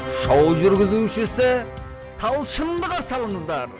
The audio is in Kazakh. шоу жүргізушісі талшынды қарсы алыңыздар